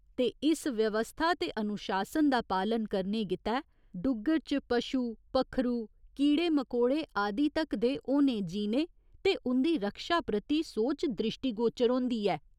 ते इस व्यवस्था ते अनुशासन दा पालन करने गितै डुग्गर च पशु, पक्खरू, कीड़े मकोड़े आदि तक दे होने जीने ते उं'दी रक्षा प्रति सोच द्रिश्टीगोचर होंदी ऐ।